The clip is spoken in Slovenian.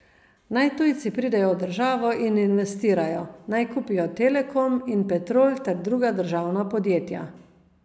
Naj tujci pridejo v državo in investirajo, naj kupijo Telekom in Petrol ter druga državna podjetja.